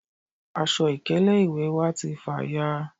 aṣọ ìkélé ìwè wa ti fàya à